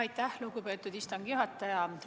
Aitäh, lugupeetud istungi juhataja!